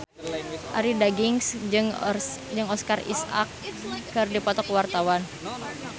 Arie Daginks jeung Oscar Isaac keur dipoto ku wartawan